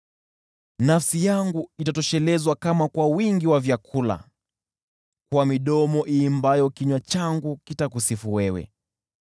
Nafsi yangu itatoshelezwa kama kwa wingi wa vyakula; kwa midomo iimbayo kinywa changu kitakusifu wewe.